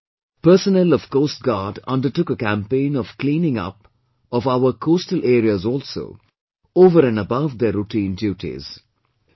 Last year, personnel of Coast Guard undertook a campaign of cleaning up of our coastal areas also, over and above their routine duties